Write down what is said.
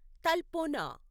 Talpona